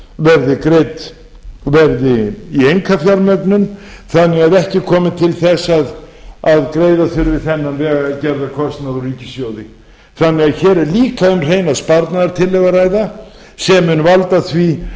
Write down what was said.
verði í einkafjármögnun þannig að ekki komi til þess að greiða þurfi þennan vegargerðarkostnað úr ríkissjóði hér er því líka um hreina sparnaðartillögu að ræða sem mun valda því